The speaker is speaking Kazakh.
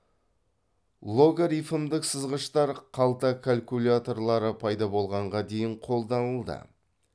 логарифмдік сызғыштар қалта калькуляторлары пайда болғанға дейін қолданылды